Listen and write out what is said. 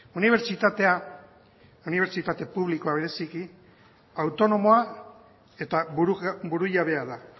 unibertsitatea unibertsitate publikoa bereziki autonomoa eta burujabea da